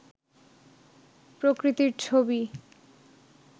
প্রকৃতির ছবি